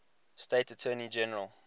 state attorney general